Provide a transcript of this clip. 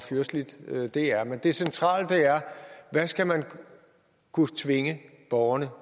fyrsteligt det er men det centrale er hvad skal man kunne tvinge borgerne